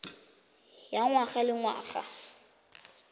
ya ngwaga le ngwaga ya